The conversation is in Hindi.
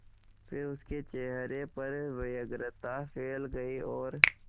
फिर उसके चेहरे पर व्यग्रता फैल गई और